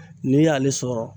N'i y'ale sɔrɔ